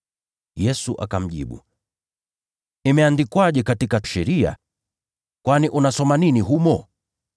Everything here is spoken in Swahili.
Yesu akamjibu, “Imeandikwaje katika Sheria? Kwani unasoma nini humo?”